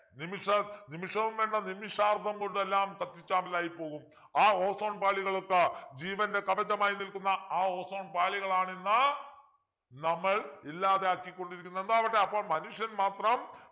നിമിഷ നിമിഷവും വേണ്ട നിമിഷാർദം കൊണ്ട് എല്ലാം കത്തിച്ചാമ്പലായിപ്പോവും ആ ozone പാളികൾക്ക് ജീവൻ്റെ കവചമായി നിൽക്കുന്ന ആ ozone പാളികളാണ് ഇന്ന് നമ്മൾ ഇല്ലാതെ ആക്കി കൊണ്ടിരിക്കുന്നത് എന്തോ ആവട്ടെ അപ്പോൾ മനുഷ്യൻ മാത്രം